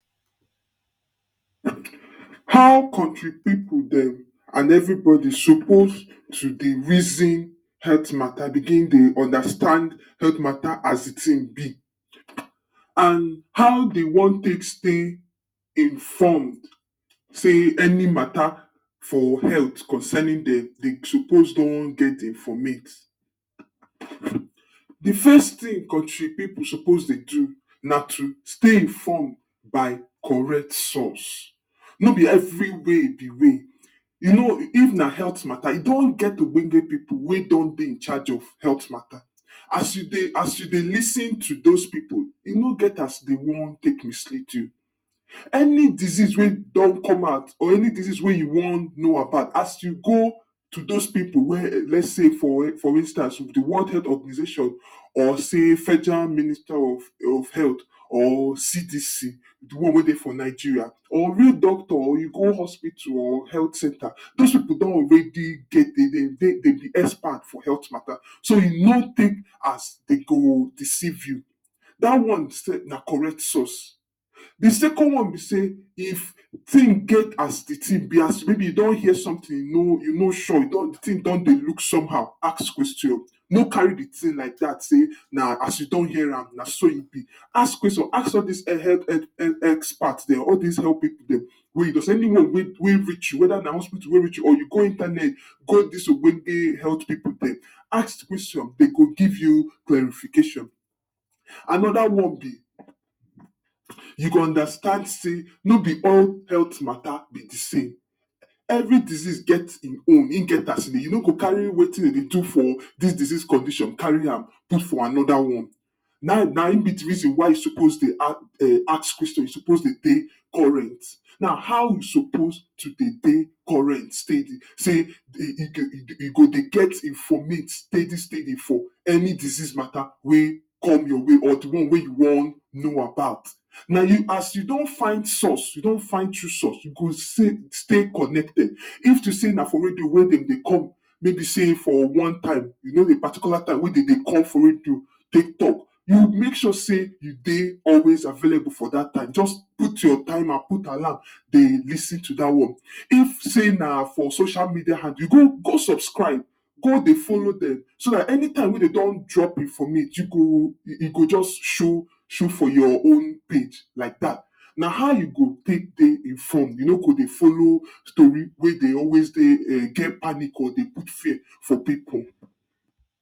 how kontri people dem and every body suppose to dey reason health matter begin dey understand health matter as the thing be and how dey wan tek stay informed sey any matter for healt concerning dem dey suppose don get the informate the first thing country people dey suppose dey do na to stay informed by correct source, no be every way be way you know if na health matter e don get the ogbongeh people wey don dey incharge of health matter as you dey lis ten to dose pipu e no get as dey want take lis ten to you any disease wey don come out or any disease wey you wan know about as you go to those people wey less sey for instance, the world health organization or sey federal minister of health or CTC the one wey dey for Nigeria or real doctor you go hospital or health centre dose pipu don already get, dem dey dem be expert for health matter so e no tek as dem go deceive you da one self na correct source the second one be sey if thing get as the thing be as mey be you don hear something you no sure thing don dey look somehow ask question no carry the thing like dat sey na as you don hearam na so e be ask question ask all dis expert dem all dis expert pipu dem any one wey reach you weda na hospital wey reach you or you go internet call dis ogbonge health people dem ask question dem go give you clarification, another one be you go understand sey no be all health mata be the same, every disease get in own hin get as e dey you no go carry wetin you dey do for dis disease condition carry am put for another one na nayin be the reason why you suppose dey ask question you suppose dey current na how you suppose to dey current steady sey you go dey get informate steady steady for any disease mata wey come your way or the one wey you wan know about na as you don find source you don find tru source you go stay connected if to sey na for radio wey dem dey come wey be sey for one time you know the particular time wey de dey come for radio take talk, you make sure sey you dey always available for dat time just put your timer put alarm dey lis ten to da one if sey na for social media handle you go go subscribe go dey folow dem so anytime wey de don drop informate you go you go just show show for your own page like dat na how you go take dey informed you no go dey folow storee wey dey always geh panic or dey put fear for people